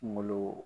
Kunkolo